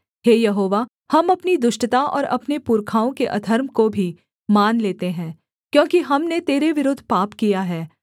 हे यहोवा हम अपनी दुष्टता और अपने पुरखाओं के अधर्म को भी मान लेते हैं क्योंकि हमने तेरे विरुद्ध पाप किया है